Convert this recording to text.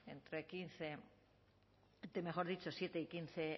de siete y quince